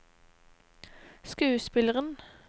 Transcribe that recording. skuespilleren